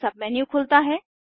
एक सबमेन्यू खुलता है